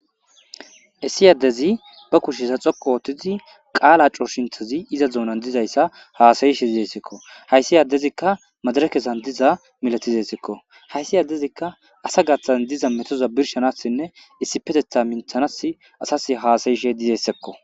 Essi addezi ba kushesa xoko oottizi qaala cooshintazi iza zuonan dizayssa haasayishe izessekko hayssi addezikka madara kessan diza milatizessekko hayssi addezikka asa gaththan diza metoza birshanassinne issipetetha minthanas asas haasayishe dizessekko.